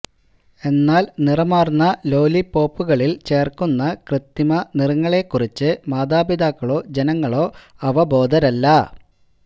എന്നാല് നിറമാര്ന്ന ലോലിപോപ്പുകളില് ചേര്ക്കുന്ന കൃത്രിമ നിറങ്ങളെ കുറിച്ച് മാതാപിതാക്കളോ ജനങ്ങളോ അവബോധരല്ല